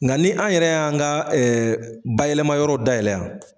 Nga ni an yɛrɛ y'an ga ɛ bayɛlɛma yɔrɔw dayɛlɛ yan